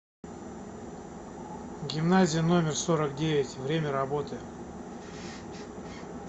гимназия номер сорок девять время работы